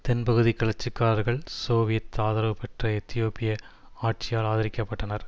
தென்பகுதி கிளர்ச்சிக்காரர்கள் சோவியத் ஆதரவு பெற்ற எத்தியோப்பிய ஆட்சியால் ஆதரிக்கப்பட்டனர்